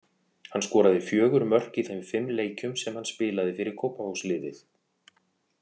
Hann skoraði fjögur mörk í þeim fimm leikjum sem hann spilaði fyrir Kópavogsliðið.